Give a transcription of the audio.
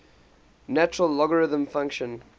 natural logarithm function